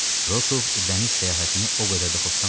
Rokoov dəniz səyahətini o qədər də xoşlamırdı.